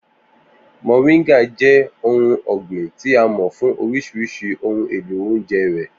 Moringa jẹ́ ohun ọ̀gbìn tí a mọ̀ fún oríṣiríṣi ohun èlò oúnjẹ rẹ̀.